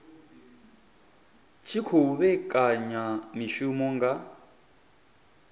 tshi khou vhekanya mishumo nga